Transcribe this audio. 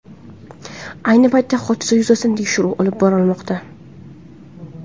Ayni paytda hodisa yuzasidan tekshiruv olib borilmoqda.